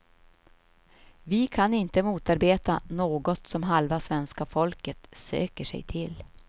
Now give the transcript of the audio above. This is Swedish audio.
Vi kan inte motarbeta något som halva svenska folket söker sig till.